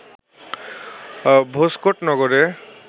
ভোজকট নগরে